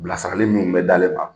Bilasirali minnu bɛ d'ale ma